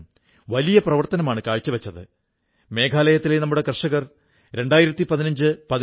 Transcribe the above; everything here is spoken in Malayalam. എല്ലാവരും വായനയിൽ പ്രേരിതരാകട്ടെ എന്ന കാര്യത്തിൽ എപ്പോഴും തത്പരരായിരിക്കുന്നവരാണിവർ